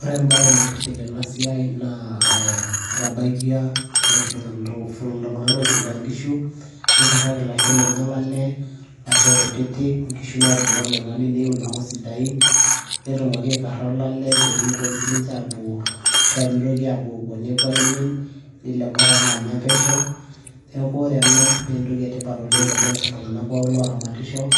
ore ebae naitiship tena siai, na etabailia, iltunganak looifuga nkishu. nikaraki ilasho lenye olale. ilasho kutitik, inkishu naatipika oloing'oni neiu ilasho sidain. netumoki aikara olale pee meitoki sii nince aapuo, ashu aa pee mitoki apuopuo nepuo aaimin. nelo enkop ake anya pesho. neku ore ena naa entoki etipat oleng tenes iltungank pookin looramatisho.